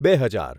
બે હજાર